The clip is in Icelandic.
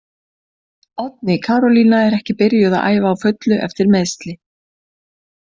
Oddný Karolína ekki byrjuð að æfa á fullu eftir meiðsli.